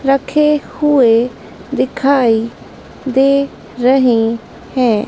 रखे हुए दिखाई दे रहे हैं।